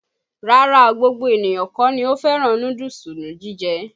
Rárá o, gbogbo ènìyàn kọ́ ni ò fẹ́ràn núdúùsù ni jíje.